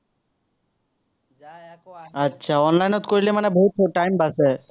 online ত কৰিলে মানে বহুত time বাচে।